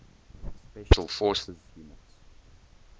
special forces units